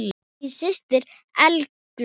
Þín systir, Eygló.